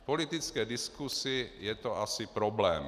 V politické diskusi je to asi problém.